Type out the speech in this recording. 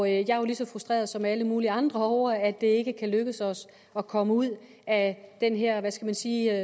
jeg er jo lige så frustreret som alle mulige andre over at det ikke kan lykkes os at komme ud af den her hvad skal man sige